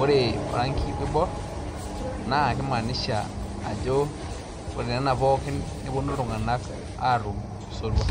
ore orangi oibor naa keimaanisha ajo ore enena pooki nepuonu iltung'anak aatum osotua.